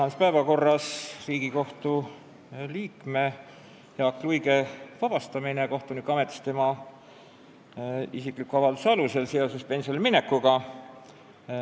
Tänases päevakorras on Riigikohtu liikme Jaak Luige vabastamine kohtunikuametist tema isikliku avalduse alusel seoses pensionile minekuga.